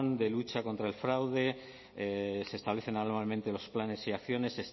de lucha contra el fraude se establecen anualmente los planes y acciones